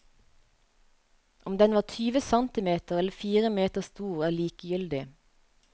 Om den var tyve centimeter eller fire meter stor, er likegyldig.